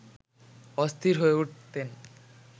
অস্থির হয়ে উঠতেন